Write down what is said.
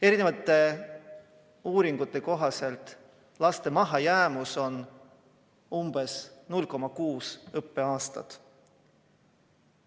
Erinevate uuringute kohaselt on laste mahajäämus umbes 0,6 õppeaastat.